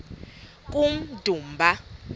kummdumba